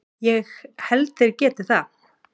Ég held þeir geti það.